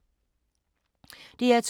DR2